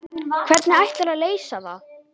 Hvernig ætlarðu að leysa það?